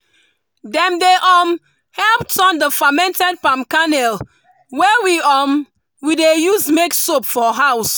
dem dey um help turn the fermented palm kernel wey um we dey use make soap for house.